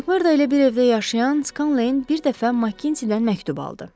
Makmörda ilə bir evdə yaşayan Skanley bir dəfə Makgintidən məktub aldı.